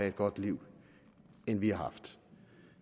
et godt liv end vi har haft